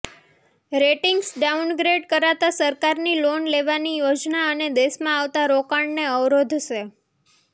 ratings downgrade કરાતાં સરકારની loan લેવાની યોજના અને દેશમાં આવતાં રોકાણને અવરોધશે